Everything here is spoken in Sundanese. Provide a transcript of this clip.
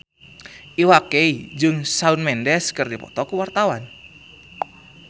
Iwa K jeung Shawn Mendes keur dipoto ku wartawan